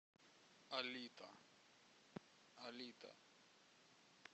алита алита